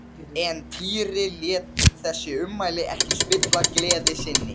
En Týri lét þessi ummæli ekki spilla gleði sinni.